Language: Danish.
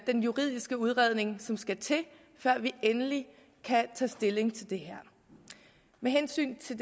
den juridiske udredning som skal til før vi endelig kan tage stilling til det her med hensyn til